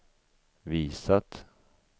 visat